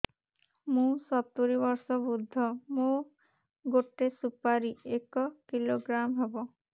ମୁଁ ସତୂରୀ ବର୍ଷ ବୃଦ୍ଧ ମୋ ଗୋଟେ ସୁପାରି ଏକ କିଲୋଗ୍ରାମ ହେବ